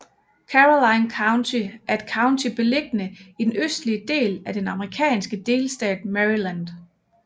Caroline County er et county beliggende i den østligste del af den amerikanske delstat Maryland